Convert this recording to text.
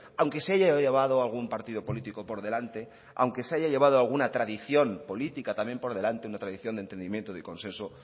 aunque se haya llevado a algún partido político por delante aunque se haya llevado alguna tradición política también por delante una tradición de entendimiento de consenso